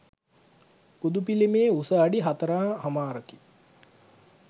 බුදු පිළිමයේ උස අඩි හතර හමාරකි.